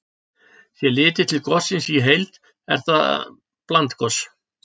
Sé litið til gossins í heild er það blandgos.